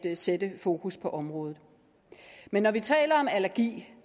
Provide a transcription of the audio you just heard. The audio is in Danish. sætte fokus på området men når vi taler om allergi